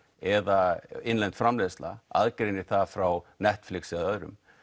eða innlend framleiðsla aðgreinir það frá Netflix eða öðrum